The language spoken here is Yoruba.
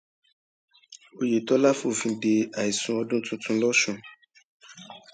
oyetola fòfin de ìsìn àìsùn ọdún tuntun lọsùn